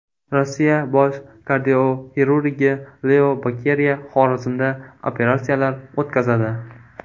Rossiya bosh kardioxirurgi Leo Bokeriya Xorazmda operatsiyalar o‘tkazadi.